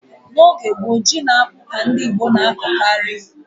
N'oge gboo, ji na akpụ ka ndị Igbo na-akọkarị.